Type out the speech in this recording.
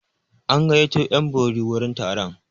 An gayyato 'yan bori wurin taron.